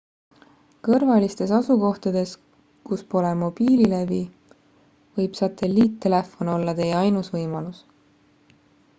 kõrvalistes asukohtades kus pole mobiililevi võib satelliittelefon olla teie ainus võimalus